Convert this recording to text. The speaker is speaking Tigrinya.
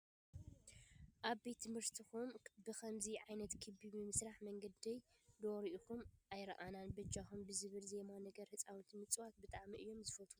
ኣብ ቤት ትምህርትኩም ብከምዚ ዓይነት ክቢ ብምስራሕ መንዲለይ ዶ ሪኢኹም ኣይረኣናን በጃኹም ብዝብል ዜማ ነገር ህፃውንቲ ምፅዋት ብጣዕሚ እዮም ዝፈትዉ።